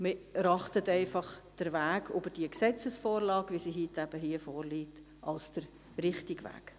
Wir erachten den Weg über diese Gesetzesvorlage, wie sie heute hier vorliegt, als den richtigen Weg.